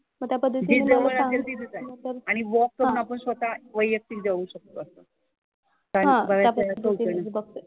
जी जवळ असेल तिथं जायचं. आणि वॉक करून आपण स्वतः वैयक्तिक जाऊ शकतो असं. कारण